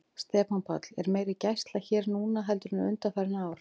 Stefán Páll: Er meiri gæsla hér núna heldur en undanfarin ár?